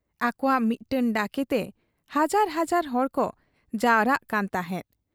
ᱟᱠᱚᱣᱟᱜ ᱢᱤᱫᱴᱟᱹᱝ ᱰᱟᱠᱮᱛᱮ ᱦᱟᱡᱟᱨ ᱦᱟᱡᱟᱨ ᱦᱚᱲᱠᱚ ᱡᱟᱣᱨᱟᱜ ᱠᱟᱱ ᱛᱟᱦᱮᱸᱫ ᱾